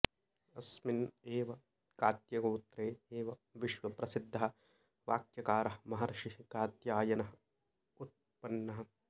अस्मिन् एव कात्यगोत्रे एव विश्वप्रसिद्धः वाक्यकारः महर्षिः कात्यायनः उत्मन्नः